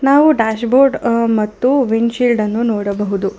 ನಾವು dashboard ಮತ್ತು windshield ನೋಡಬಹುದು.